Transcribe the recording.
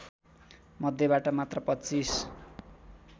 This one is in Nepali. मध्येबाट मात्र २५